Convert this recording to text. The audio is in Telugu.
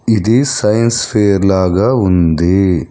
ఇది సైన్స్ ఫెయిర్ లాగా ఉంది.